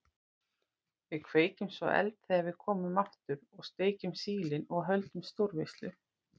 Við kveikjum svo eld þegar við komum aftur og steikjum sílin og höldum stórveislu.